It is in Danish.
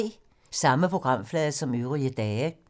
Samme programflade som øvrige dage